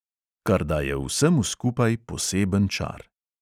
Kar daje vsemu skupaj poseben čar.